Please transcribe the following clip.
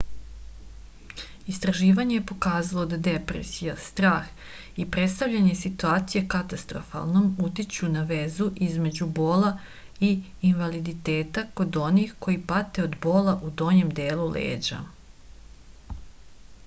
istraživanje je pokazalo da depresija strah i predstavljanje situacije katastrofalnom utiču na vezu između bola i invaliditeta kod onih koji pate od bola u donjem delu leđa